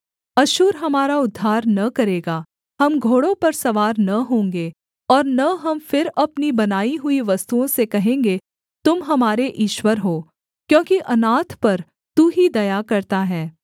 अश्शूर हमारा उद्धार न करेगा हम घोड़ों पर सवार न होंगे और न हम फिर अपनी बनाई हुई वस्तुओं से कहेंगे तुम हमारे ईश्वर हो क्योंकि अनाथ पर तू ही दया करता है